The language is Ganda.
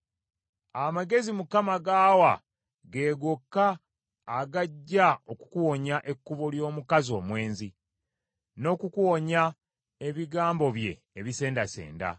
Amagezi Mukama g’awa ge gokka agajja okukuwonya ekkubo ly’omukazi omwenzi, n’okukuwonya ebigambo bye ebisendasenda,